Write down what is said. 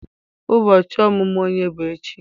Ubochi omumu onye bu echi?